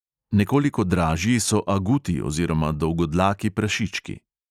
Nekoliko dražji so aguti oziroma dolgodlaki prašički.